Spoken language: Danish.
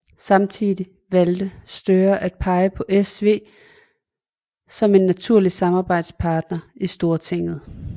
Samtidig valgte Støre at pege på SV som en naturlig samarbejdspartner i Stortinget